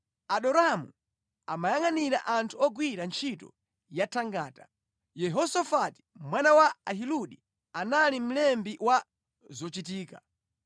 Adoramu amayangʼanira anthu ogwira ntchito ya thangata, Yehosafati mwana wa Ahiludi anali mlembi wa zochitika,